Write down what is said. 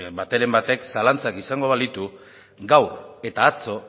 b bateren batek zalantzak izango balitu gaur eta atzo